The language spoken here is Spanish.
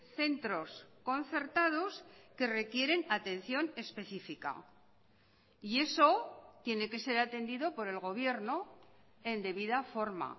centros concertados que requieren atención especifica y eso tiene que ser atendido por el gobierno en debida forma